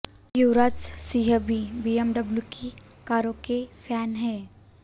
युवराज सिंह भी बीएमडब्लू की कारों के फैन हैं